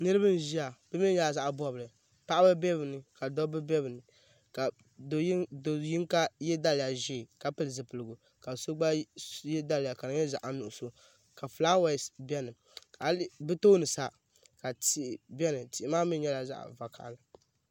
Niriba n ʒia bɛ mee nyɛla zaɣa bobli paɣaba be bɛ ni ka dabba be bɛ ni ka do yinga ye daliya ʒee ka pili zipiligu ka so gba ye daliya ka di nyɛ zaɣa nuɣuso ka filaawaasi biɛni bɛ tooni sa ka tihi biɛni tihi maa maa mee nyɛla zaɣa vakahali.